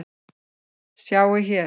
Sjá hér.